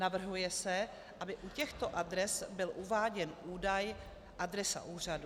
Navrhuje se, aby u těchto adres byl uváděn údaj adresa úřadu.